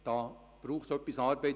Hier braucht es etwas Arbeit.